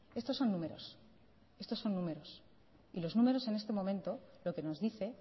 estos son números estos son números y los números en este momento lo que nos dice